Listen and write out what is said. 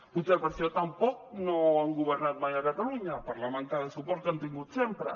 potser per això tampoc no han governat mai a catalunya per la manca de suport que han tingut sempre